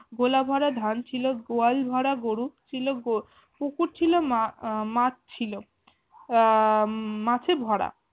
গোলাভরা ধান ছিল গোয়ালভরা গরু ছিল গো পুকুর মা আহ মাছ ছিল আহ মাছে ভরা